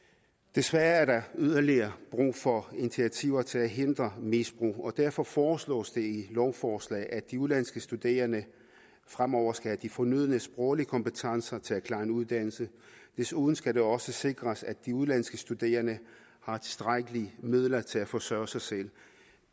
desværre er der yderligere brug for initiativer til at hindre misbrug og derfor foreslås det i lovforslaget at de udenlandske studerende fremover skal have de fornødne sproglige kompetencer til at klare en uddannelse desuden skal det også sikres at de udenlandske studerende har tilstrækkelige midler til at forsørge sig selv